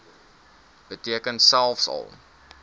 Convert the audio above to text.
beteken selfs al